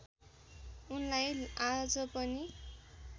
उनलाई आज पनि